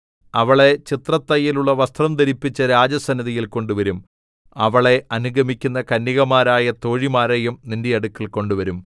അവളെ ചിത്രത്തയ്യലുള്ള വസ്ത്രം ധരിപ്പിച്ച് രാജസന്നിധിയിൽ കൊണ്ടുവരും അവളെ അനുഗമിക്കുന്ന കന്യകമാരായ തോഴിമാരെയും നിന്റെ അടുക്കൽ കൊണ്ടുവരും